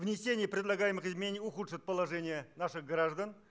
внесение предлагаемых изменений ухудшит положение наших граждан